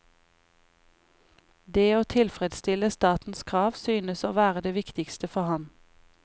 Det å tilfredsstille statens krav synes å være det viktigste for ham.